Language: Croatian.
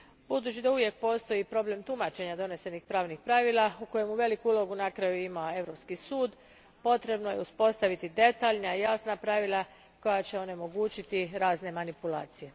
Budući da uvijek postoji problem tumačenja donesenih pravnih pravila, u kojemu veliku ulogu na kraju ima Europski sud, potrebno je uspostaviti detaljna i jasna pravila koja će onemogućiti razne manipulacije.